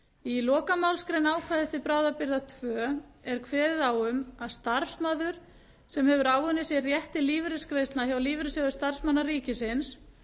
í lokamálsgrein ákvæðis til bráðabirgða tveggja er kveðið á um að starfsmaður sem hefur áunnið sér rétt til lífeyrisgreiðslna hjá lífeyrissjóði starfsmanna ríkisins